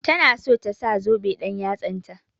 Ta na so ta sa zoben ɗan-yatsa.